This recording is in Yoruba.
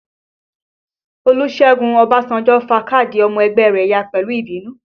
Olusegun Obasanjo fa káàdì ọmọ ẹgbẹ́ rẹ ya pẹ̀lú ìbínú